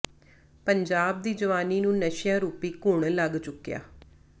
ਪੰਜਾਬ ਦੀ ਜਵਾਨੀ ਨੂੰ ਨਸ਼ਿਆਂ ਰੂਪੀ ਘੁਣ ਲੱਗ ਚੁੱਕਿਆ